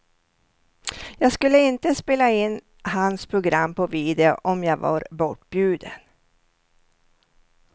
Jag skulle inte spela in hans program på video om jag var bortbjuden.